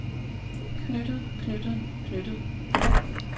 knyttet knyttet knyttet